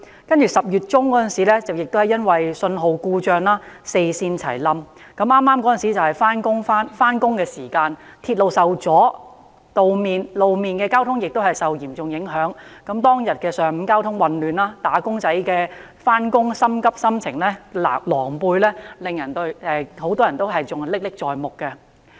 接着10月中，由於發生信號故障，導致四線全面故障，當時剛好是上班時間，鐵路受阻也導致路面交通受到嚴重影響，當天上午的交通混亂、"打工仔"焦急上班的狼狽心情，很多人仍然歷歷在目。